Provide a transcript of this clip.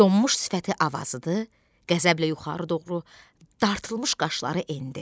Donmuş sifəti avazıdı, qəzəblə yuxarı doğru dartılmış qaşları endi.